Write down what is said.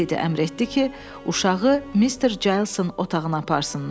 Ledi əmr etdi ki, uşağı Mister Calsın otağına aparsınlar.